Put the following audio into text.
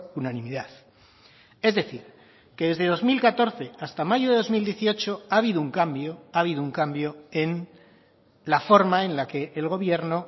unanimidad es decir que desde dos mil catorce hasta mayo de dos mil dieciocho ha habido un cambio ha habido un cambio en la forma en la que el gobierno